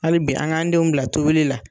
Hali bi an k'an denw bila tobili la.